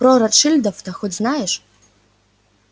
про ротшильдов-то хоть знаешь